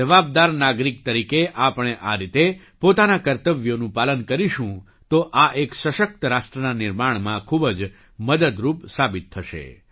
એક જવાબદાર નાગરિક તરીકે આપણે આ રીતે પોતાનાં કર્તવ્યોનું પાલન કરીશું તો આ એક સશક્ત રાષ્ટ્રના નિર્માણમાં ખૂબજ મદદરૂપ સાબિત થશે